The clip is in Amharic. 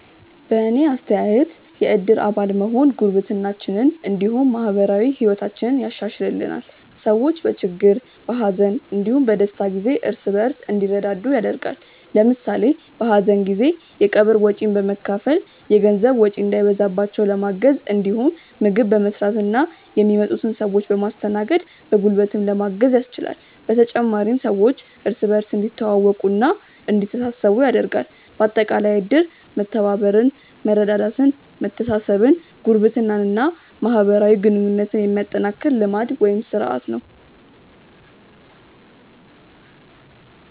በእኔ አስተያየት የእድር አባል መሆን ጉርብትናችንን እንዲሁም ማህበራዊ ህይወታችንን ያሻሻሽልልናል። ሰዎች በችግር፣ በሀዘን እንዲሁም በደስታ ጊዜ እርስ በእርስ እንዲረዳዱ ያደርጋል። ለምሳሌ በሀዘን ጊዜ የቀብር ወጪን በመካፈል የገንዘብ ወጪ እንዳይበዛባቸው ለማገዝ እንዲሁም ምግብ በመስራትና የሚመጡትን ሰዎች በማስተናገድ በጉልበትም ለማገዝ ያስችላል። በተጨማሪም ሰዎች እርስ በእርስ እንዲተዋወቁና እንዲተሳሰቡ ያደርጋል። በአጠቃላይ እድር መተባበርን፣ መረዳዳትን፣ መተሳሰብን፣ ጉርብትናን እና ማህበራዊ ግንኙነትን የሚያጠናክር ልማድ (ስርአት) ነው።